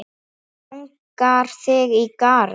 Langar þig í garð?